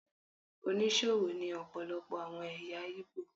Onísòwò ni ọpọlọpọ àwọn ẹ̀yà Ìgbò.